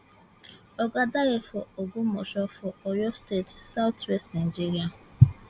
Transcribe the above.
oga dare from ogbomosho for oyo state south west nigeria